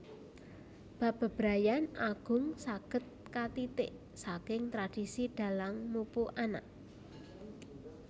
Bab bebrayan agung saged katitik saking tradisi Dhalang mupu anak